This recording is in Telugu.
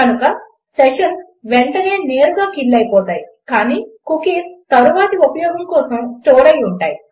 కనుక సెషన్స్ వెంటనే నేరుగా కిల్ అయిపోతాయి కానీ కుకీస్ తరువాతి ఉపయోగం కోసం స్టోర్ అయ్యి ఉంటాయి